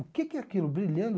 O que que é aquilo brilhando?